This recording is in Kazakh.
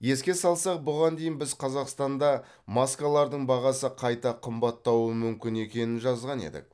еске салсақ бұған дейін біз қазақстанда маскалардың бағасы қайта қымбаттауы мүмкін екенін жазған едік